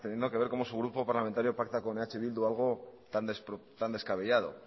teniendo que ver cómo su grupo parlamentario pacta con eh bildu tan descabellado